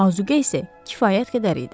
Azuqə isə kifayət qədər idi.